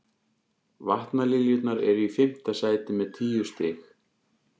Vatnaliljurnar eru í fimmta sæti með tíu stig.